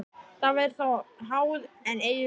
Það væri þá háð, en eigi lof.